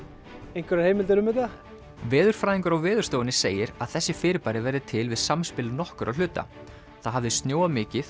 einhverjar heimildir um þetta veðurfræðingur á Veðurstofunni segir að þessi fyrirbæri verði til við samspil nokkurra hluta það hafði snjóað mikið